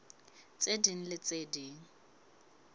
tse ding le tse ding